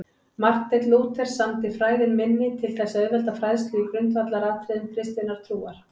Marteinn Lúther samdi Fræðin minni til þess að auðvelda fræðslu í grundvallaratriðum kristinnar trúar.